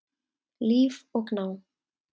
Líf og Gná.